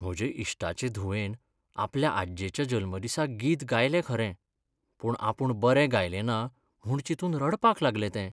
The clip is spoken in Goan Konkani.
म्हज्या इश्टाचे धुवेन आपल्या आज्जेच्या जल्मदिसाक गीत गायलें खरें, पूण आपूण बरें गायलें ना म्हूण चिंतून रडपाक लागलें तें.